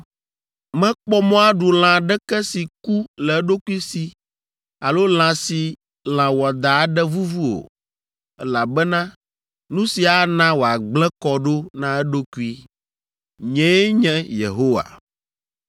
Mekpɔ mɔ aɖu lã aɖeke si ku le eɖokui si alo lã si lã wɔadã aɖe vuvu o, elabena nu sia ana wòagblẽ kɔ ɖo na eɖokui. Nyee nye Yehowa.